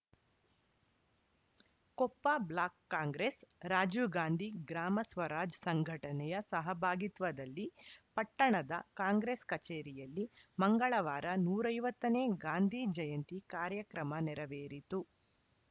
Koppa block Congress Rajiv Gandhi Gram Swaraj ಸಂಘಟನೆಯ ಸಹಭಾಗಿತ್ವದಲ್ಲಿ ಪಟ್ಟಣದ ಕಾಂಗ್ರೆಸ್‌ ಕಚೇರಿಯಲ್ಲಿ ಮಂಗಳವಾರ ನೂರ ಐವತ್ತ ನೇ ಗಾಂಧಿ ಜಯಂತಿ ಕಾರ್ಯಕ್ರಮ ನೆರವೇರಿತು